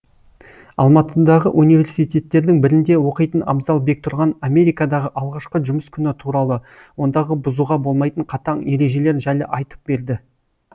алматыдағы университеттердің бірінде оқитын абзал бектұрған америкадағы алғашқы жұмыс күні туралы ондағы бұзуға болмайтын қатаң ережелер жайлы айтып берді